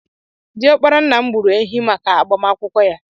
Diọkpara ńnà m gbùrù ehi màkà agbamakwụkwọ ya.